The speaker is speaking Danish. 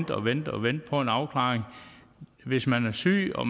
og vente og vente på en afklaring hvis man er syg og